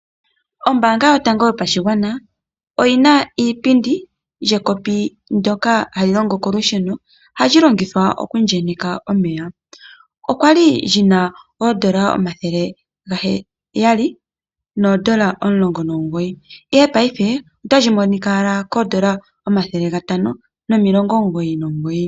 Ombaanga yotango yopashigwana, oyi na iipindi yekopi ndyoka hali longo kolusheno. Ohali longithwa okuyenyeka omeya. okwali li na oondola omathele gaheyali noondola omulongo nomugoyi, ihe paife otali monika owala koondola omathele gatano nomilongo omugoyi nomugoyi.